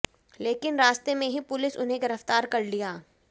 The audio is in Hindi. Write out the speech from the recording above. लेकिन रास्ते में ही पुलिस उन्हें गिरफ्तार कर लिया